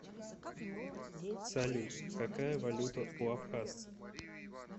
салют какая валюта у абхазсцев